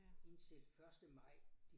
Indtil første maj